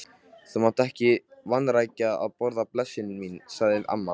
Þú mátt ekki vanrækja að borða, blessuð mín, sagði amma.